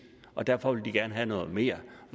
og derfor vil de gerne have noget mere